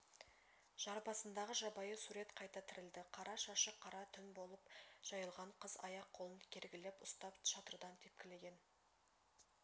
жар басындағы жабайы сурет қайта тірілді қара шашы қара түн болып жайылған қыз аяқ-қолын кергілеп ұстап шатырдан тепкілеген